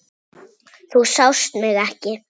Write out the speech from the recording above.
Þú sást mig ekki.